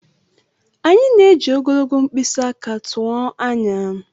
Anyị na-eji ogologo mkpịsị aka tụọ anya.